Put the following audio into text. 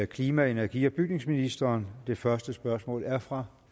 klima energi og bygningsministeren det første spørgsmål er fra